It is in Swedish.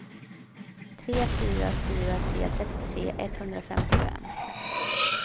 tre fyra fyra tre trettiotre etthundrafemtiofem